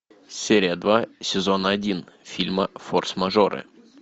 серия два сезон один фильма форс мажоры